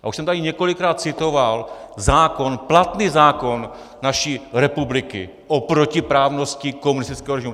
A už jsem tady několikrát citoval zákon, platný zákon naší republiky o protiprávnosti komunistického režimu.